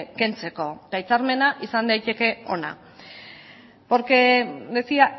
kentzeko eta hitzarmena izan daiteke ona porque decía